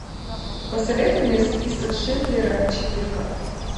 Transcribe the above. посоветуй мне список шиндлера четырка